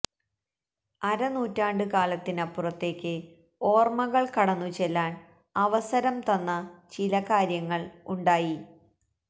അരനൂറ്റാണ്ട് കാലത്തിനപ്പുറത്തേക്ക് ഓര്മകള് കടന്നു ചെല്ലാന് അവസരം തന്ന ചില കാര്യങ്ങള് ഉണ്ടായി